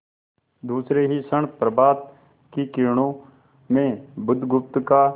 दूसरे ही क्षण प्रभात की किरणों में बुधगुप्त का